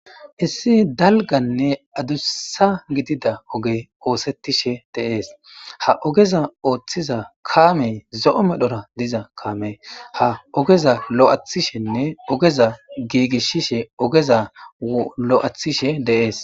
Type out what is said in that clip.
Issi dalggane addussa giidida oggey ossetishe de'es ha oggeza oththiza kammey zo'o medhora diiza kaamey ha oggeza lo'athishene oggeza gigisishe de'ess.